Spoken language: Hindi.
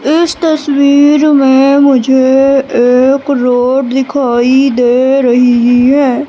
इस तस्वीर में मुझे एक रोड दिखाई दे रही है।